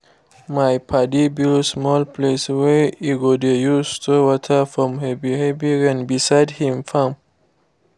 my padi build small place wey e go dey use store water from heavy heavy rain beside him farm